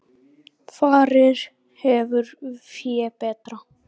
Farið hefur fé betra.